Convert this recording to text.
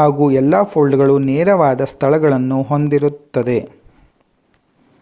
ಹಾಗೂ ಎಲ್ಲಾ ಫೋಲ್ಡ್ ಗಳು ನೇರವಾದ ಸ್ಥಳಗಳನ್ನು ಹೊಂದಿರುತ್ತದೆ